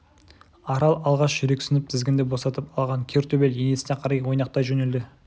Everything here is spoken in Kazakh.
арал алғаш жүрексініп тізгінді босатып алған кер төбел енесіне қарай ойнақтай жөнелді